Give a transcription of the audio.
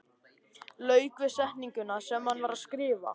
Lauk við setninguna sem hann var að skrifa.